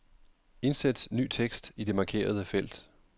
Indsæt ny tekst i det markerede felt.